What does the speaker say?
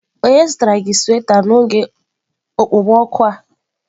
Onye zụtara gị sweta n'oge okpomọkụ a?